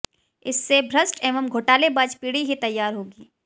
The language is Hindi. इससे भ्रष्ट एवं घोटालेबाज पीढ़ी ही तैयार होगी